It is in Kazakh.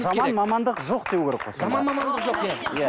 жаман мамандық жоқ деу керек қой сонда